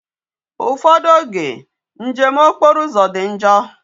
Ufodu oge njem okporo uzo di njoo